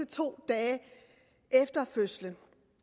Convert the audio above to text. to dage efter fødslen